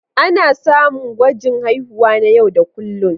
A samu gwajin haihuwa na yau da kullun.